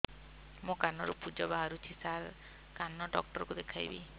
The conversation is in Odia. ମୋ କାନରୁ ପୁଜ ବାହାରୁଛି ସାର କାନ ଡକ୍ଟର କୁ ଦେଖାଇବି